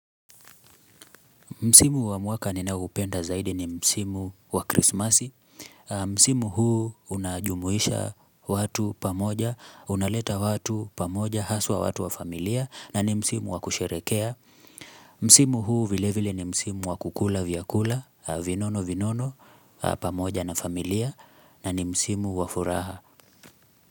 Msimu wa mwaka ninaoupenda zaidi ni Msimu wa Krismasi. Msimu huu unajumuisha watu pamoja, unaleta watu pamoja, haswa watu wa familia, na ni Msimu wa kusherekea. Msimu huu vilevile ni Msimu wa kukula vyakula, vinono vinono, pamoja na familia, na ni msimu wa furaha.